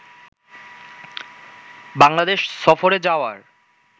বাংলাদেশ সফরে যাওয়ার